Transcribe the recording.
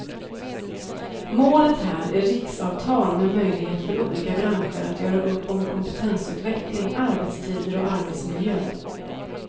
Målet här är riksavtal med möjlighet för olika branscher att göra upp om kompetensutveckling, arbetstider och arbetsmiljö.